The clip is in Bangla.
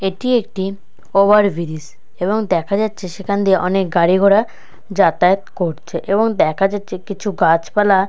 এটি একটিওভার ব্রিজ এবং দেখা যাচ্ছে সেখান দিয়ে অনেক গাড়ি ঘোড়া যাতায়াত করছে এবং দেখা যাচ্ছে কিছু গাছপালা-